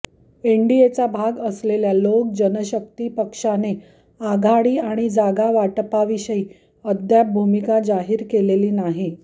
एनडीएचा भाग असलेल्या लोक जनशक्ती पक्षाने आघाडी आणि जागावाटपाविषयी अद्याप भूमिका जाहीर केलेली नाही